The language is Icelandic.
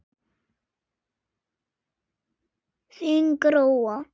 Þín Gróa.